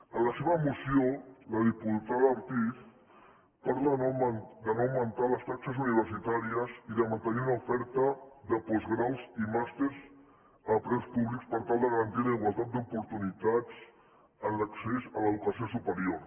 en la seva moció la diputada ortiz parla de no augmentar les taxes universitàries i de mantenir una oferta de postgraus i màsters a preus públics per tal de garantir la igualtat d’oportunitats en l’accés a l’educació superior